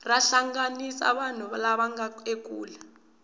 ra hlanganisa vanhu lava nga ekule